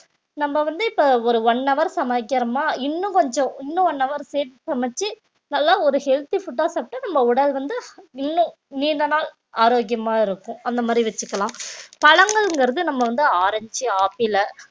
நம்ம வந்து இப்ப ஒரு one hour சமைக்கிறோமா இன்னும் கொஞ்சம் இன்னும் one hour சேர்த்து சமைச்சு நல்லா ஒரு healthy food ஆ சாப்பிட்டு நம்ம உடல் வந்து நீண்ட நீண்ட நாள் ஆரோக்கியமா இருக்கும் அந்த மாதிரி வச்சுக்கலாம் பழங்கள்ங்கிறது நம்ம வந்து ஆரஞ்சு, ஆப்பிள